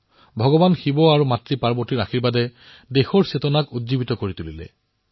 ভগৱান শিৱ আৰু মাপাৰ্বতীৰ আশীৰ্বাদে দেশৰ চেতনা জাগৃত কৰিছে